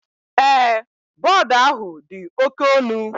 Ee, board ahu di oke onu